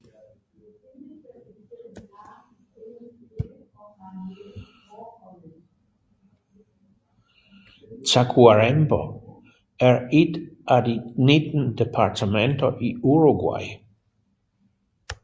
Tacuarembó er et af de 19 departementer i Uruguay